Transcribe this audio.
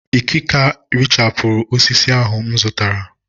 ìkaka erichapụ osisi ọhụrụ m zụtara